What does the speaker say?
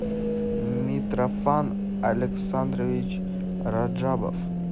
митрофан александрович раджабов